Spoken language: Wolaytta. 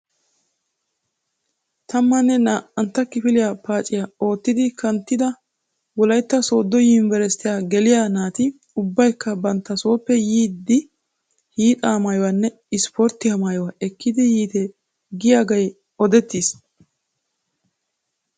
Tammanne naa"ntta kifiliya paaciya ootti kanttidi Wolaytta sooddo yunbberesttiya geliya naati ubbaykka bantta sooppe yiiddi hiixaa maayuwa, ispporttiya maayuwa ekkidi yiite giyagee odettiis.